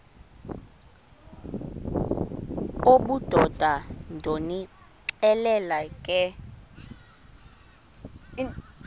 obudoda ndonixelela ke